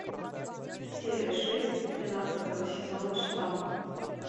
серия шесть тринадцатого сезона штамм